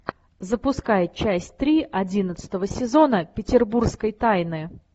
запускай часть три одиннадцатого сезона петербургской тайны